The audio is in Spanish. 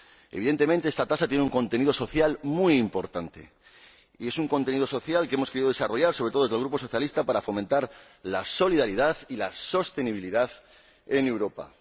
Evidentemente, esta tasa tiene un contenido social muy importante, y es un contenido social que hemos querido desarrollar, sobre todo desde el Grupo socialista, para fomentar la solidaridad y la sostenibilidad en Europa.